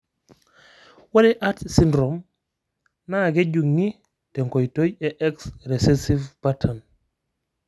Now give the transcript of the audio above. Ore Arts syndrome naa kejung'I te nkoitoi e X recessive pattern.